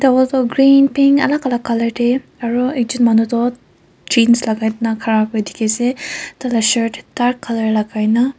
green pink alak alak colour tae aro ekjon manu toh jeans lakai na khara kuri dikhiase tala shirt dark colour lakai na.